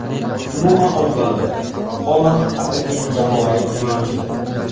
Umuman olganda, Holand haqiqiy jamoaviy o‘yinchidir.